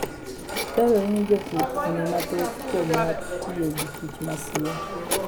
Dwarore ni jopur ong'e mathoth kuom wach tiyo gi kich masie.